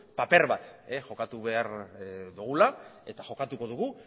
paper bat jokatu behar dugula eta jokatuko dugu